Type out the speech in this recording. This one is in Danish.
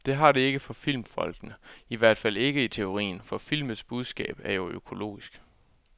Det har det ikke for filmfolkene, i hvert fald ikke i teorien, for filmens budskab er jo økologisk.